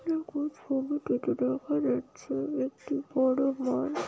যেটি দেখা যাচ্ছে একটি বড়ো ঘড়।